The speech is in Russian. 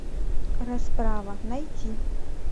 расправа найти